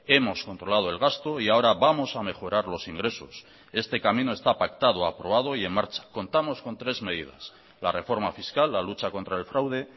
hemos controlado el gasto y ahora vamos a mejorar los ingresos este camino está pactado aprobado y en marcha contamos con tres medidas la reforma fiscal la lucha contra el fraude